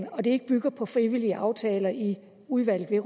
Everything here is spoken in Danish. og at det ikke bygger på frivillige aftaler i udvalget